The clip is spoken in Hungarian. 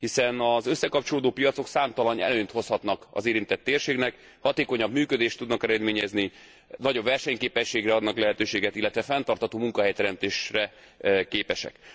Hiszen az összekapcsolódó piacok számtalan előnyt hozhatnak az érintett térségnek hatékonyabb működést tudnak eredményezni, nagyobb versenyképességre adnak lehetőséget, illetve fenntartható munkahelyteremtésre képesek.